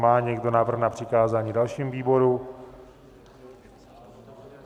Má někdo návrh na přikázání dalšímu výboru?